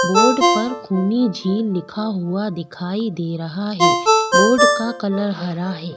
Board पर खूनी झील लिखा हुआ दिखाई दे रहा है बोर्ड का कलर हरा है।